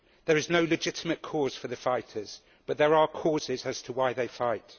There is no legitimate cause for the fighters, but there are causes as to why they fight.